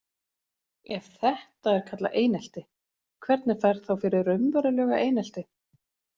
Ef þetta er kallað einelti, hvernig fer þá fyrir raunverulegu einelti?